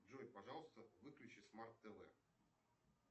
джой пожалуйста выключи смарт тв